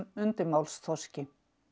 undirmálsþorski